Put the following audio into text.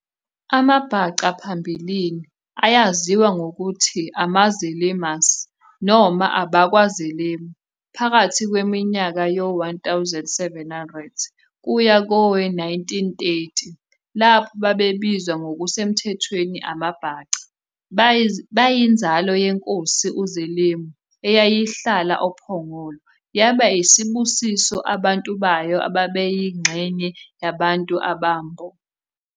AmaBhaca phambilini ayaziwa ngokuthi amaZelemus noma AbakwaZelemu phakathi kweminyaka yo-1700 kuya kowe-1830 lapho babebizwa ngokusemthethweni AmaBhaca. Bayinzalo yenkosi uZelemu eyayihlala oPhongolo yabe isibusa abantu bayo ababeyingxenye yabantu abaMbo.